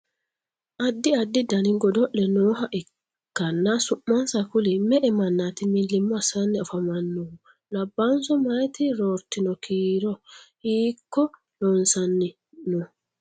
Addi addi danni godo'le nooha ikanna su'mansa kuli? Me"e mannati milimo assanni afamanohu? Labaahunso mayiti roortino kiiro? Hiiko loosanni no?